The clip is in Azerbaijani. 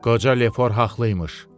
Qoca Lefor haqlı imiş.